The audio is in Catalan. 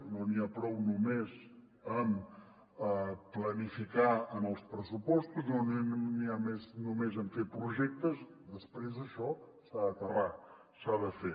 no n’hi ha prou només amb planificar en els pressupostos no n’hi ha prou només amb fer projectes després això s’ha d’aterrar s’ha de fer